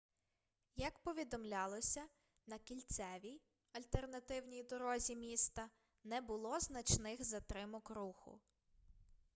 як повідомлялося на кільцевій альтернативній дорозі міста не було значних затримок руху